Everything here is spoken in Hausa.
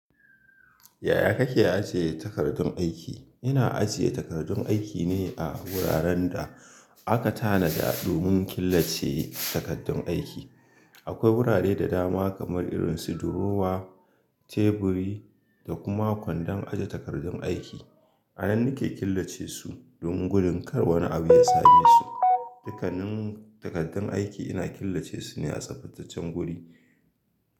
Yaya kake ajiye takardun aiki? Ina ajiye takardun aiki ne a wuraren da aka tanada domin killace takardun aiki. Akwai wurare da dama kamar irin su durowa, teburi da kuma kwandon aje takardun aiki. A nan nake killace su domin gudun kar wani abu ya same su. Dukkanin takardun aiki ina killace su ne a tsaftacen gwuri.